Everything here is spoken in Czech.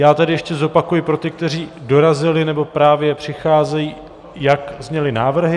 Já tedy ještě zopakuji pro ty, kteří dorazili nebo právě přicházejí, jak zněly návrhy.